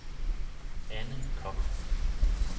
Anne Kock